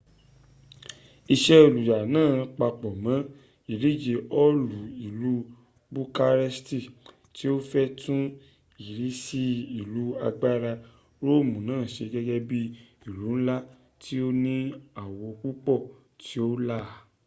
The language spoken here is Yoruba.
ise oluya naa papo mo idije hoolu ilu bukaresti ti o fe tun irisi ilu agbara roomu naa se gege bii ilu nla ti o ni awo pupo ti o la